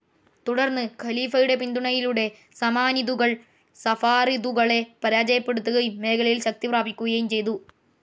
തുടർന്ന് ഖലീഫയുടെ പിന്തുണയിലൂടെ സമാനിദുകൾ സഫാറിദുകളെ പരാജയപ്പെടുത്തുകയും മേഖലയിൽ ശക്തി പ്രാപിക്കുകയും ചെയ്തു.